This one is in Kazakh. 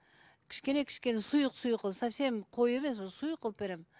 кішкене кішкене сұйық сұйық совсем қою емес сұйық қылып беремін